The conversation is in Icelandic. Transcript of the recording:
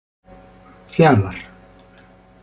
Fjalar